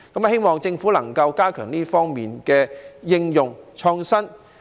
希望政府能夠加強這方面的應用、創新。